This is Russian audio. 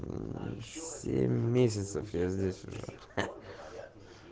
семь месяцев я здесь уже